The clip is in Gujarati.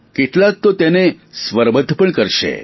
કેટલાક તો તેને સ્વરબધ્ધ પણ કરશે